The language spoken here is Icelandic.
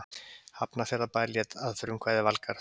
Hafnarfjarðarbær lét að frumkvæði Valgarðs